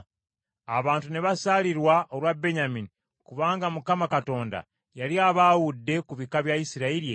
Abantu ne basaalirwa olwa Benyamini kubanga Mukama Katonda yali abaawudde ku bika bya Isirayiri ebirala.